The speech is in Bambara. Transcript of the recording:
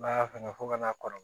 N'a y'a fanga fo ka n'a kɔrɔ